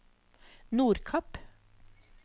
Nordkapp